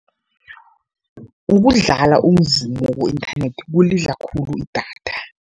Ukudlala umvumo ku-inthanethi kulidla khulu idatha.